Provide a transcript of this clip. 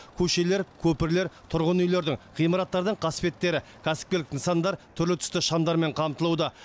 көшелер көпірлер тұрғын үйлердің ғимараттардың қасбеттері кәсіпкерлік нысандар түрлі түсті шамдармен қамтылуда